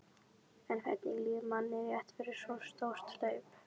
En hvernig líður manni rétt fyrir svo stórt hlaup?